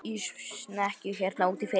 Í snekkju hérna úti fyrir!